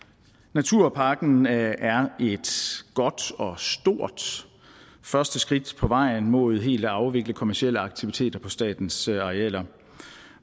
naturpakken er et godt og stort første skridt på vejen mod helt at afvikle kommercielle aktiviteter på statens arealer